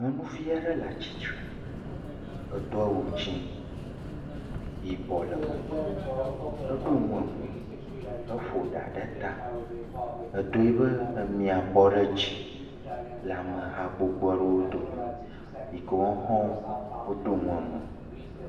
Nyɔnuvi aɖe le atsitre, edo awu dzɛ̃, yibɔ le me, eɖɔ nu emo, eƒo ɖa ɖe ta, edo ebe emia bɔ ɖe dzi le ameha gbogbo aɖewo dome yike woawo hã woɖo nu emo.